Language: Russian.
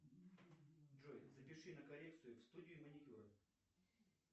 джой запиши на коррекцию в студию маникюра